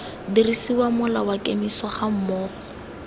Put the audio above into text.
dirisiwa mola wa kemiso gammogo